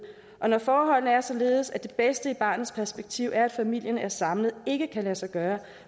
og når forholdene er således at det bedste i barnets perspektiv er at familien er samlet ikke kan lade sig gøre